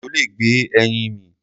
Ejò lè gbé ẹyin mì.